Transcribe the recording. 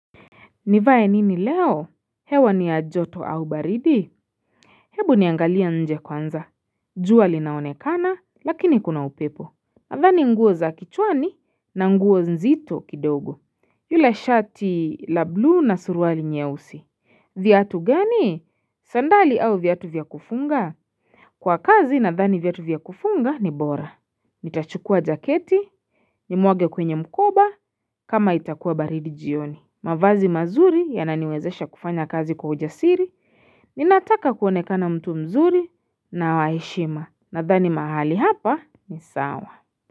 Nivae nini leo hewa ni ya joto au baridi Hebu niangalie nje kwanza jua linaonekana lakini kuna upepo nadhani nguo za kichwani na nguo nzito kidogo yule shati la blue na suruali nyeusi viatu gani sandali au viatu vya kufunga Kwa kazi nadhani viatu vya kufunga ni bora nitachukua jaketi nimwage kwenye mkoba kama itakuwa baridi jioni mavazi mazuri yananiwezesha kufanya kazi kwa ujasiri, ninataka kuonekana mtu mzuri na wa heshima. Nadhani mahali hapa ni sawa.